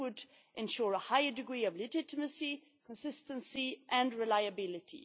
This would ensure a higher degree of legitimacy, consistency and reliability.